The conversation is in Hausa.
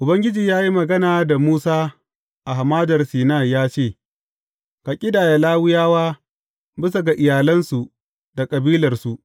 Ubangiji ya yi magana da Musa a Hamadar Sinai ya ce, Ka ƙidaya Lawiyawa bisa ga iyalansu da kabilarsu.